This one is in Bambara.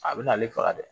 A bɛ na ale faga dɛ